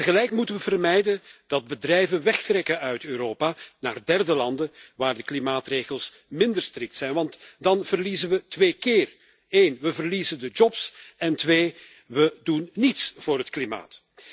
Tegelijk moeten we vermijden dat bedrijven wegtrekken uit Europa naar derde landen waar de klimaatregels minder strikt zijn, want dan verliezen we twee keer we verliezen de jobs en we doen niets voor het klimaat.